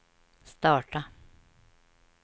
starta